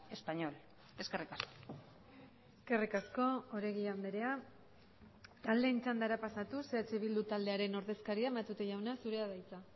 español eskerrik asko eskerrik asko oregi andrea taldeen txandara pasatuz eh bildu taldearen ordezkaria matute jauna zurea da hitza